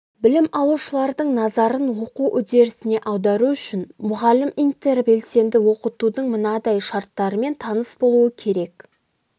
білім алушылардың назарын оқу үдерісіне аудару үшін мұғалім интербелсенді оқытудың мынадай шарттарымен таныс болуы керек